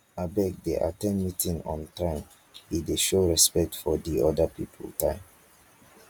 abeg dey at ten d meeting on time e dey show respect for di oda pipo time